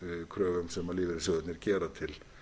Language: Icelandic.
kröfum sem lífeyrissjóðirnir gera til